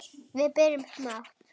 Við byrjum smátt.